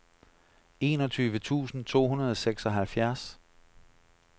enogtyve tusind to hundrede og seksoghalvfjerds